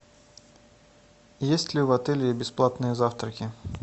есть ли в отеле бесплатные завтраки